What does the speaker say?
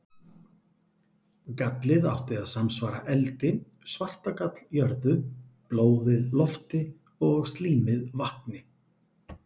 Gallið átti að samsvara eldi, svartagall jörðu, blóðið lofti og slímið vatni.